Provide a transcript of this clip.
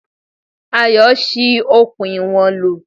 Ayọ̀ ṣi okùn ìwọ̀n lò.